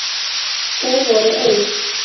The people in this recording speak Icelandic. Þeir voru auk